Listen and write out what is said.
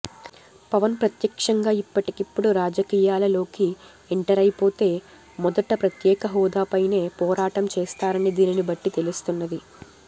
పవన్ ప్రత్యక్షంగా ఇప్పటికిప్పుడు రాజకీయాలలోకి ఎంటరైపొతే మొదట ప్రత్యేక హోదాపైనే పోరాటం చేస్తారని దీనిని బట్టి తెలుస్తున్నది